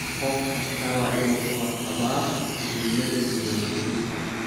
Qof kastaa waa inuu ka warqabaa muhiimada diiwangelinta.